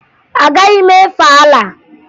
Agaghị m efe Alaa